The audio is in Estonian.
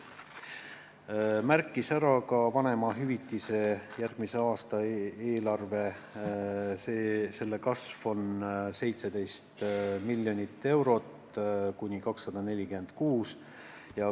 Ta märkis ära ka vanemahüvitise järgmise aasta eelarve kasvu, mis on 17 miljonit eurot, st kuni 240 eurot kuus.